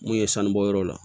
Mun ye sanu bɔyɔrɔ la